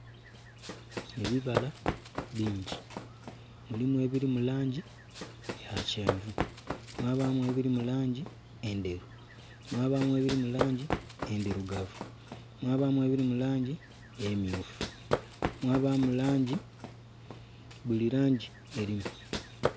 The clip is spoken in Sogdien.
Ebibala bingi mulimu ebiri mu langi eya kyenvu, mwabamu ebiri mu langi endheru, mwabamu ebiri mu langi endhirugavu, mwabamu ebiri mu langi emyufu mwabamu langi buli langi erimu.